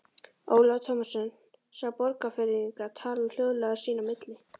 Ólafur Tómasson sá Borgfirðinga tala hljóðlega sín á milli.